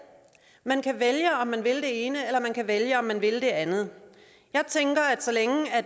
man kan vælge om man vil det ene eller man kan vælge om man vil det andet jeg tænker at så længe